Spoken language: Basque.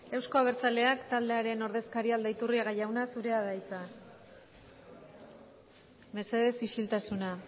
euzko abertzaleak taldearen ordezkaria aldaiturriaga jauna zurea da hitza mesedez isiltasuna